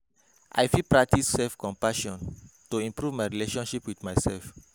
I fit practice self-compassion to improve my relationship with myself.